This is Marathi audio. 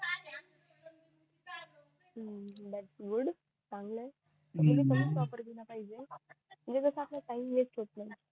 हम्म थॉट्स गुड चांगलंय तस त कमी च वापरला पाहिजे म्हणजे कस असं टाइम वेस्ट होत नाही